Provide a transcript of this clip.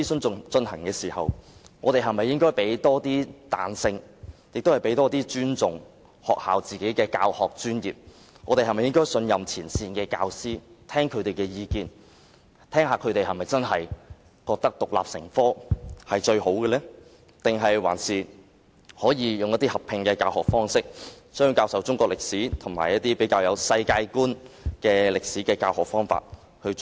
在進行諮詢期間，我們應該多給予教育界彈性，尊重學校的教學專業，信任前線教師，聆聽他們的意見，就應否獨立成科，還是以合併的教學方式教授中史及世界觀歷史？